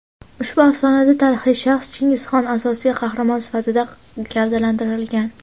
ushbu afsonada tarixiy shaxs – Chingizxon asosiy qahramon sifatida gavdalantirilgan.